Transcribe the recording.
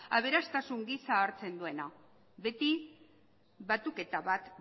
aberastasun gisa hartzen duena beti batuketa bat